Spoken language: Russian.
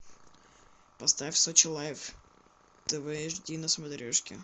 поставь сочи лайф тв эйч ди на смотрешке